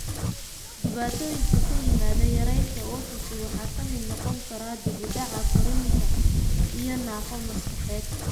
Dhibaatooyinka ka yimaada yaraanta OTC waxaa ka mid noqon kara dib u dhac korriin iyo naafo maskaxeed.